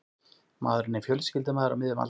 Maðurinn er fjölskyldumaður á miðjum aldri